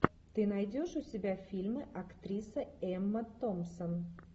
ты найдешь у себя фильмы актриса эмма томпсон